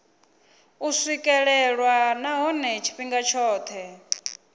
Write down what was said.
u swikelelwa nahone tshifhinga tshothe